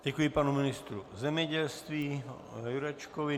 Děkuji panu ministru zemědělství Jurečkovi.